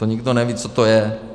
To nikdo neví, co to je.